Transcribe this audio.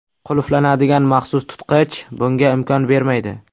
Qulflanadigan maxsus tutqich bunga imkon bermaydi.